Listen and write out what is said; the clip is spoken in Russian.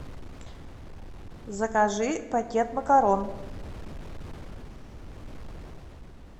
закажи пакет макарон